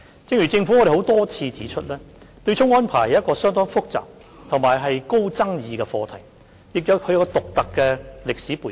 正如政府多次指出，對沖安排是一個相當複雜及極具爭議的課題，亦有其獨特的歷史背景。